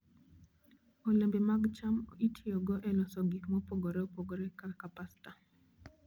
Olembe mag cham itiyogo e loso gik mopogore opogore kaka pasta.